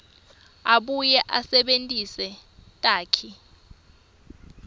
abuye asebentise takhi